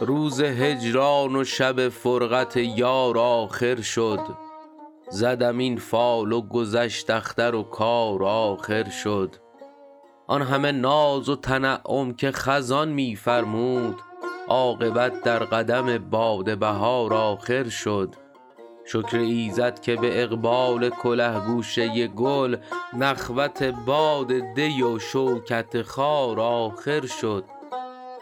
روز هجران و شب فرقت یار آخر شد زدم این فال و گذشت اختر و کار آخر شد آن همه ناز و تنعم که خزان می فرمود عاقبت در قدم باد بهار آخر شد شکر ایزد که به اقبال کله گوشه گل نخوت باد دی و شوکت خار آخر شد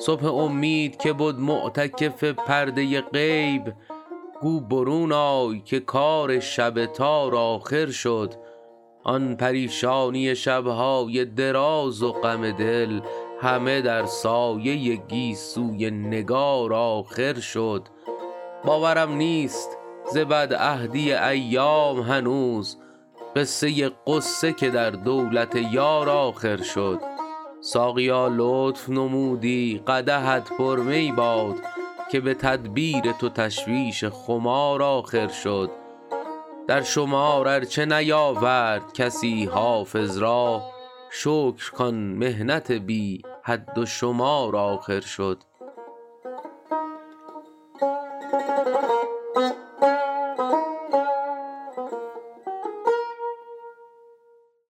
صبح امید که بد معتکف پرده غیب گو برون آی که کار شب تار آخر شد آن پریشانی شب های دراز و غم دل همه در سایه گیسوی نگار آخر شد باورم نیست ز بدعهدی ایام هنوز قصه غصه که در دولت یار آخر شد ساقیا لطف نمودی قدحت پر می باد که به تدبیر تو تشویش خمار آخر شد در شمار ار چه نیاورد کسی حافظ را شکر کان محنت بی حد و شمار آخر شد